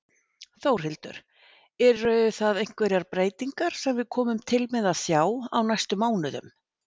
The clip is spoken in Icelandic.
Þórhildur: Eru það einhverjar breytingar sem við komum til með að sjá á næstu mánuðum?